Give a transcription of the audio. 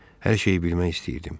Hər şeyi bilmək istəyirdim.